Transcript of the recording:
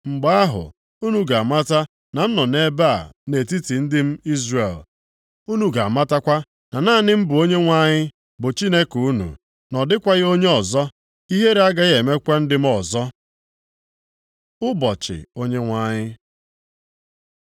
Mgbe ahụ unu ga-amata na m nọ nʼebe a nʼetiti ndị m Izrel. Unu ga-amatakwa na naanị m bụ Onyenwe anyị bụ Chineke unu, na ọ dịkwaghị onye ọzọ. Ihere agaghị emekwa ndị m ọzọ. Ụbọchị Onyenwe anyị